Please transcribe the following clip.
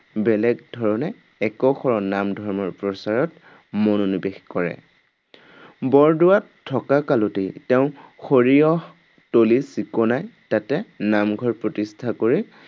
বেলেগ ধৰণে এক শৰণ নাম ধৰ্মৰ প্ৰচাৰত মনোনিৱেশ কৰে। বৰদোৱাত থকা কালতেই তেওঁ সৰিয়হ তলি চিকুণাই তাতে নামঘৰ প্ৰতিষ্ঠা কৰি